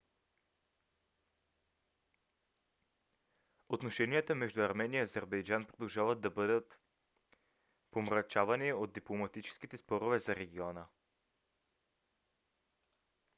отношеният между армения и азербайджан продължават да бъдат помрачавани от дипломатическите спорове за региона